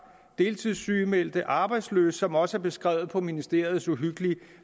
deltidssygemeldte og arbejdsløse som også er beskrevet på ministeriets uhyggelig